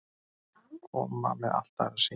Koma með allt aðra sýn